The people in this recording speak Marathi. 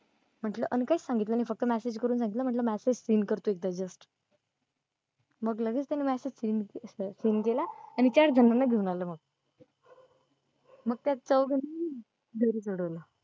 म्हंटलं आम्ही काहीच सांगितलं नाही फक्त message मग लगेच त्या नि message seen केला आणि चार जणांना घेऊन आले मग मग त्या चोवंघानी .